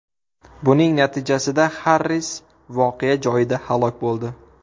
Buning natijasida Xarris voqea joyida halok bo‘ldi.